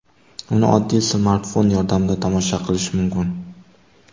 Uni oddiy smartfon yordamida tomosha qilish mumkin.